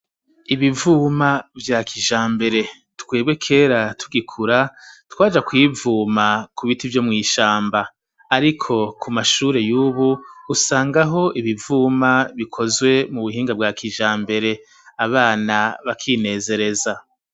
Ibivuma vya kijambere twebwe kera tugikura twaja kuyivuma ku biti vyo mw'ishamba ariko ku mashure y'ubu usangaho ibivuma bikozwe mu buhinga bwa kijambere abana bakinezereza.